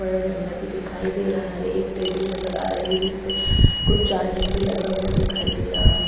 और डंडा भी दिखाई दे रहा है एक टेबल नजर आ रही है जिसपे कुछ चार्जिंग पर लगा हुआ दिखाई दे रहा है।